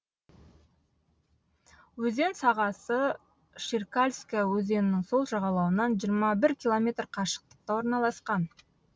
өзен сағасы шеркальская өзенінің сол жағалауынан жиырма бір километр қашықтықта орналасқан